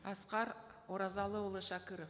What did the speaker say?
асқар оразалыұлы шәкіров